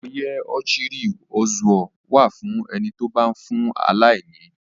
Oyè Ochiri Ozuo wà fún ẹni tó bá ń fún aláìní.